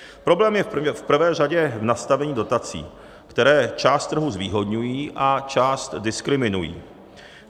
Problém je v prvé řadě v nastavení dotací, které část trhu zvýhodňují a část diskriminují.